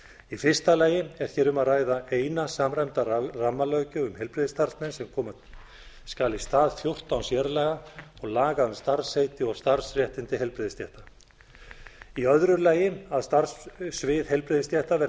í fyrsta lagi er hér um að ræða eina samræmda rammalöggjöf um heilbrigðisstarfsmenn sem koma skal í stað fjórtán sérlaga og laga um starfsheiti og starfsréttindi heilbrigðisstétta í öðru lagi að starfssviðheilbrigðisstétta verði